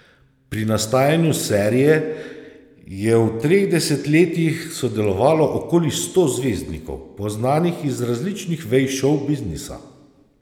Pri nastajanju serije je v treh desetletjih sodelovalo okoli sto zvezdnikov, poznanih iz različnih vej šovbiznisa.